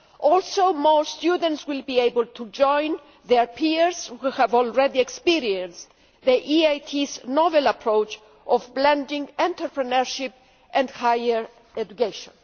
Also, more students will be able to join their peers who have already experienced the EIT's novel approach of blending entrepreneurship and higher education.